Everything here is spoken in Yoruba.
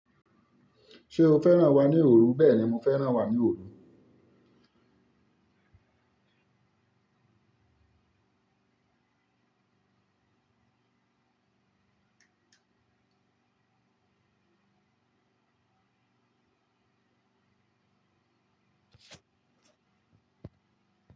Ṣé o fẹ́ràn wà ní Oòrù? Bẹ́ẹ̀ ni, mo fẹ́ràn wà ní oòrù.